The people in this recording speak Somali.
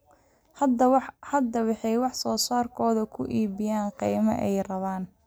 Hadda waxay wax soo saarkooda ku iibiyaan qiimaha ay rabaan.